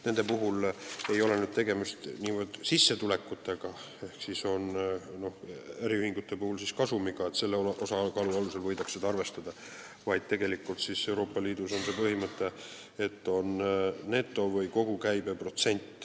Nende puhul ei ole tegemist niivõrd sissetulekutega ehk äriühingute puhul kasumiga, selle osakaalu alusel seda ei arvestata, vaid tegelikult on Euroopa Liidus põhimõte, et juriidiliste isikute puhul on aluseks neto- või kogukäibe protsent.